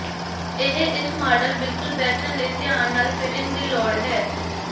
ਇਹ ਇਸ ਮਾਡਲ ਬਿਲਕੁਲ ਬੈਠਣ ਲਈ ਧਿਆਨ ਨਾਲ ਫਿਟਿੰਗ ਦੀ ਲੋੜ ਹੈ